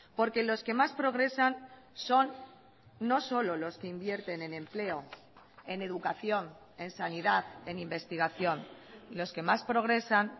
porque los que más progresan son no solo los que invierten en empleo en educación en sanidad en investigación los que más progresan